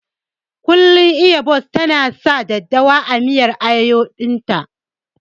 Kullum Iya Bose ta na sa daddawa a miyar ayoyon ta